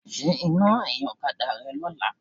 Ṣe iná ẹ̀yìn ọ̀kadà rẹ lọ́la.